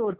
हो